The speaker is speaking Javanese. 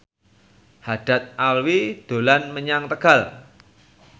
Haddad Alwi dolan menyang Tegal